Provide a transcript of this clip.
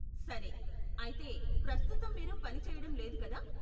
సరే, అయితే, ప్రస్తుతం మీరు పని చేయడం లేదు, కదా?